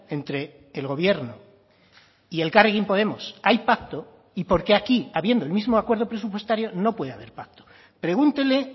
entre el gobierno y elkarrekin podemos hay pacto y por qué aquí habiendo el mismo acuerdo presupuestario no puede haber pacto pregúntele